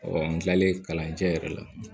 n kilalen kalancɛ yɛrɛ la